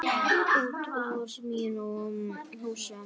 Út úr mínum húsum!